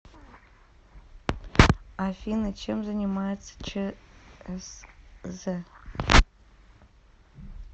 афина чем занимается чсз